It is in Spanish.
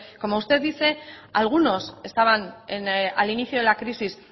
como usted dice algunos estaban al inicio de la crisis